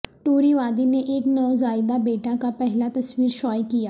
ٹوری وادی نے ایک نوزائیدہ بیٹا کا پہلا تصویر شائع کیا